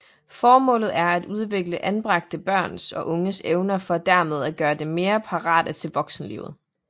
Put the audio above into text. Formålet er at udvikle anbragte børns og unges evner for dermed at gøre dem mere parate til voksenlivet